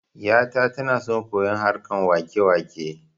Yata tana son koyon harkan wakewake